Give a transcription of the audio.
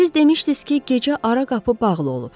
Siz demişdiniz ki, gecə ara qapı bağlı olub.